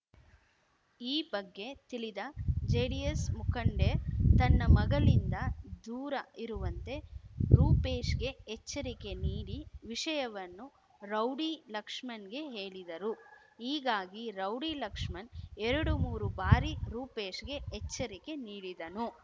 ಈ ಬಗ್ಗೆ ತಿಳಿದ ಜೆಡಿಎಸ್ ಮುಖಂಡೆ ತನ್ನ ಮಗಳಿಂದ ದೂರ ಇರುವಂತೆ ರೂಪೇಶ್‌ಗೆ ಎಚ್ಚರಿಕೆ ನೀಡಿ ವಿಷಯವನ್ನು ರೌಡಿ ಲಕ್ಷ್ಮಣ್‌ಗೆ ಹೇಳಿದರು ಹೀಗಾಗಿ ರೌಡಿ ಲಕ್ಷ್ಮಣ್ ಎರಡುಮೂರು ಬಾರಿ ರೂಪೇಶ್‌ಗೆ ಎಚ್ಚರಿಕೆ ನೀಡಿದನು